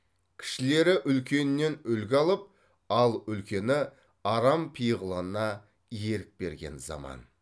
кішілері үлкенінен үлгі алып ал үлкені арам пиғылына ерік берген заман